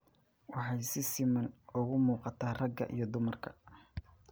Waxay si siman ugu muuqataa ragga iyo dumarka.